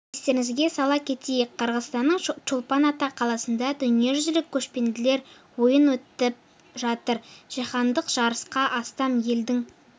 естеріңізге сала кетейік қырғызстанның чолпан ата қаласында дүниежүзілік көшпенділер ойыны өтіп жатыр жаһандық жарысқа астам елдің